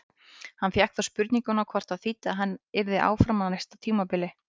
Hann fékk þá spurninguna hvort það þýddi að hann yrði áfram á næsta tímabili?